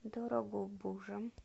дорогобужем